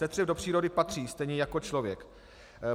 Tetřev do přírody patří stejně jako člověk.